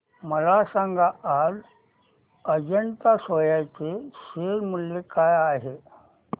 मला सांगा आज अजंता सोया चे शेअर मूल्य काय आहे